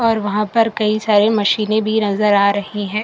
और वहां पर कई सारे मशीनें भी नजर आ रही हैं।